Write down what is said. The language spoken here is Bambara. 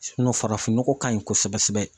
sinɔn farafin nɔgɔ kaɲi kosɛbɛ sɛbɛ